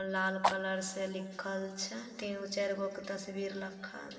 लाल colour से लिखल छै तीन गो के चार गो के तस्वीर रखल --